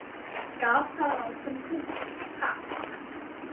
Gaf sá ráð sem kunni, ha!